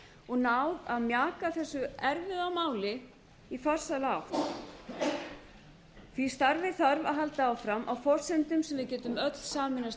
og náð að mjaka þessu erfiða máli í farsæla átt því starfi þarf að halda áfram á forsendum sem við getum öll sameinast